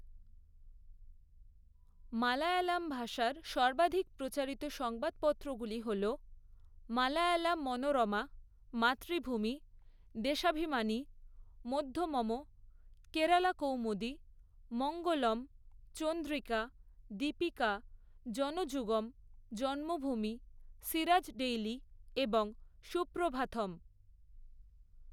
মালয়ালাম ভাষার সর্বাধিক প্রচারিত সংবাদপত্রগুলি হল মালয়ালা মনোরমা, মাতৃভূমি, দেশাভিমানি, মধ্যমম, কেরালা কৌমুদি, মঙ্গলম, চন্দ্রিকা, দীপিকা, জনযুগম, জন্মভূমি, সিরাজ ডেইলি এবং সুপ্রভাথম।